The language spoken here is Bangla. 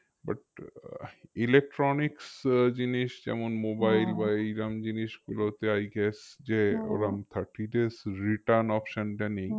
But আহ elecrtonics আহ জিনিস যেমন এইরম জিনিসগুলোতে i gues যে thirty days return option টা নেই